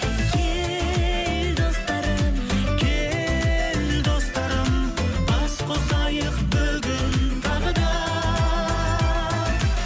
кел достарым кел достарым бас қосайық бүгін тағы да